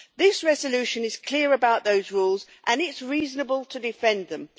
This resolution is clear about those rules, and it is reasonable to defend them.